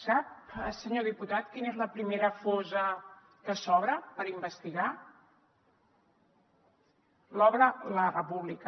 sap senyor diputat quina és la primera fossa que s’obre per investigar l’obre la república